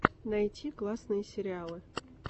найти классные сериалы